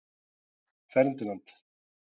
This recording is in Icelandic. Ferdinand